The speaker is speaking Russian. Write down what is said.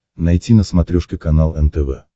найти на смотрешке канал нтв